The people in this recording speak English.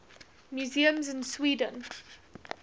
museums in sweden